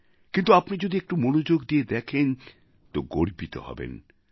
কিন্তু আপনি যদি একটু মনোযোগ দিয়ে দেখেন তো গর্বিত হবেন